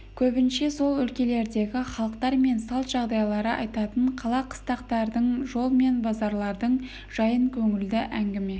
көбінше сол өлкелердегі халықтар мен салт жағдайларды айтатын қала қыстақтардың жол мен базарлардың жайын көңілді әңгіме